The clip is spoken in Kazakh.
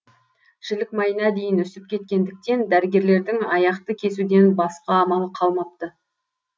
жілік майына дейін үсіп кеткендіктен дәрігерлердің аяқты кесуден басқа амалы қалмапты